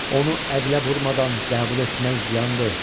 Onu əqlə vurmadan qəbul etmək ziyandır.